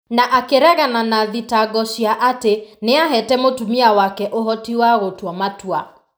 na akĩregana na thitango cia atĩ nĩ aheete mũtumia wake ũhoti wa gũtua matua.